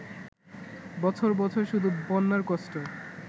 বছর বছর শুধু বন্যার কষ্ট